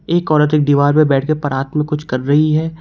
एक औरत एक दीवार पर बैठकर पारात में कुछ कर रही है।